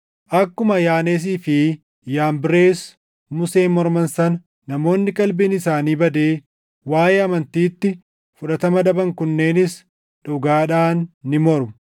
Akkuma Yaaneesii fi Yaambirees Museen morman sana namoonni qalbiin isaanii badee waaʼee amantiitti fudhatama dhaban kunneenis dhugaadhaan ni mormu.